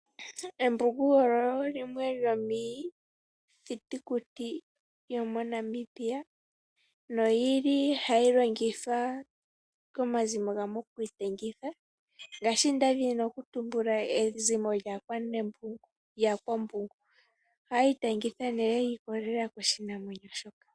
Embungu olyo limwe lyomiithitukuti yomoNamibia noyili hali longithwa komazimo gamwe okwiitangitha. Ngaashi nda dhini okutumbula ezimo lyaAkwanambungu ohaya itangitha nee shi ikolelela koshinamwenyo sho.